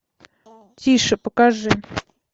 тише покажи